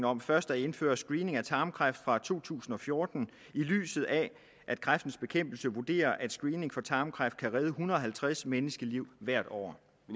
om først at indføre screening for tarmkræft fra to tusind og fjorten i lyset af at kræftens bekæmpelse vurderer at screening for tarmkræft kan redde en hundrede og halvtreds menneskeliv hvert år